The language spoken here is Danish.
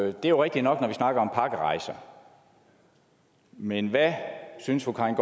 er jo rigtigt nok når vi snakker om pakkerejser men hvad synes fru karin